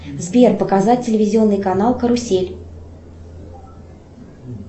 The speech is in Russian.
сбер показать телевизионный канал карусель